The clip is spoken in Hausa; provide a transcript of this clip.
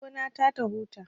Na bar gona ta ta huta